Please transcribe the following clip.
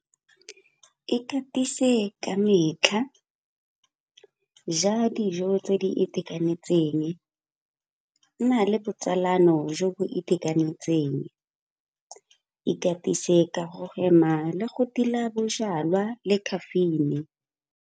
Ikatise ka metlha, ja dijo tse di itekanetseng, nna le botsalano jo bo itekanetseng, ikatise ka go hema le go tila bojalwa le caffeine.